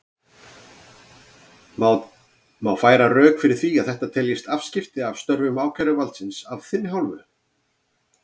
Má færa rök fyrir því að þetta teljist afskipti af störfum ákæruvaldsins af þinni hálfu?